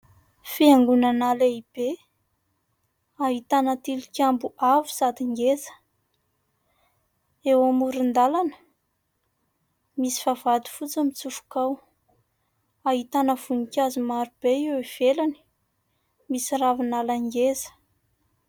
Fiangonana lehibe ahitana tilikambo avo sady ngeza, eo amoron-dalana misy vavahady fotsy mitsofoka ao, ahitana voninkazo maro be eo ivelany, misy ravinala ngeza.